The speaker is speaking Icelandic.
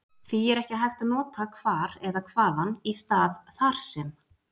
því er ekki hægt að nota hvar eða hvaðan í stað þar sem